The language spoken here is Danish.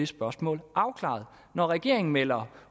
spørgsmålet afklaret når regeringen melder